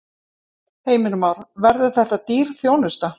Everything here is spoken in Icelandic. Heimir Már: Verður þetta dýr þjónusta?